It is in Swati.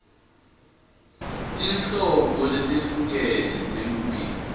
tinhlobo letehlukene telulwimi